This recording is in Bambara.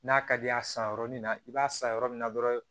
N'a ka di ye a san yɔrɔnin na i b'a san yɔrɔ min na dɔrɔn